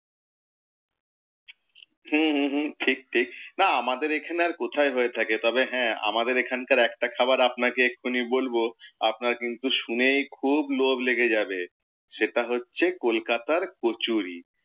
হম হম হম ঠিক ঠিক, না আমাদের এখানে আর কোথায় হয়ে থাকে। তবে হ্যাঁ আমাদের এখানের একটা খাবার বলবো, আপনার কিন্তু শুনেই আপনার খুব লোভ লেগে যাবে, সেটা হচ্ছে কলকাতার কচুরি।